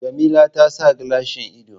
Jamila ta sa gilashin ido